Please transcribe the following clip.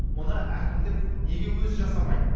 мұны әкімдік неге өзі жасамайды